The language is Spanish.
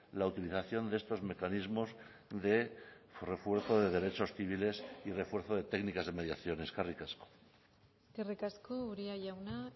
la utilización de estos mecanismos de refuerzo de derechos civiles y refuerzo de técnicas de mediación eskerrik asko eskerrik asko uria jauna